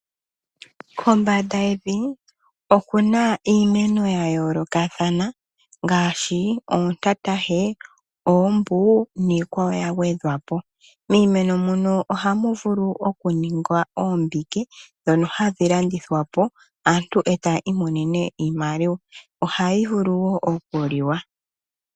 Kombanda yevi okuna iimeno ya yoolokathana ngaashi oontatahe, oombu niikwawo ya gwedhwa po. Miimeno muno ohamu vulu oku ningwa oombike ndhono hadhi landithwa po aantu eta yi imonene iimaliwa ohayi vulu nokuliwa.